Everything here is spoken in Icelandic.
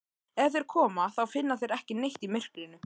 Ef þeir koma þá finna þeir ekki neitt í myrkrinu.